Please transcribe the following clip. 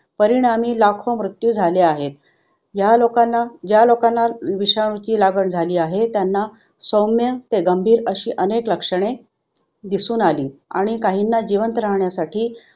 परिणामी लाखो मृत्यू झाले आहेत. ह्या लोकांना ह्या लोकांना विषाणूची लागण झाली आहे त्यांना सौम्य ते गंभीर अशी अनेक लक्षणे दिसून आली आणि काहींना जिवंत राहण्यासाठी